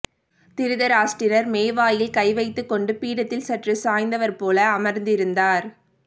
திருதராஷ்டிரர் மோவாயில் கைவைத்துக்கொண்டு பீடத்தில் சற்று சாய்ந்தவர் போல அமர்ந்திருந்தார்